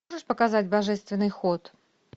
можешь показать божественный ход